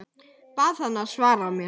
Bað hana að svara mér.